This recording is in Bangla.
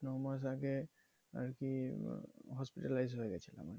ন মাস আগে আর কি hospitalized হয়ে গেছিলাম